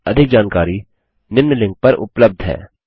इस पर अधिक जानकारी निम्न लिंक पर उपलब्ध है